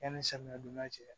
Yanni samiyan donda cɛ